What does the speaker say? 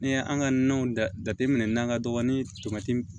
N'i ye an ka nanw jateminɛ n'an ka dɔgɔnin tɔti